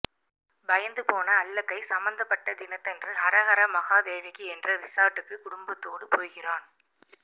பயந்து போன அல்லக்கை சம்மந்தப்பட்ட தினத்தன்று ஹரஹர மகாதேவகி என்ற ரிசார்ட்டுக்கு குடும்பத்தோடு போகிறான்